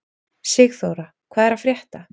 Sigþóra, hvað er að frétta?